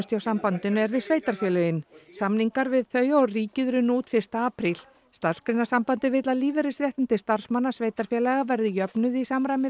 hjá sambandinu er við sveitarfélögin samningar við þau og ríkið runnu út fyrsta apríl Starfsgreinasambandið vill að lífeyrisréttindi starfsmanna sveitarfélaga verði jöfnuð í samræmi